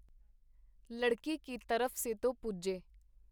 ਲੜਕੀ ਕੀ ਤਰਫ਼ ਸੇ ਤੋ ਪੂਜੇ .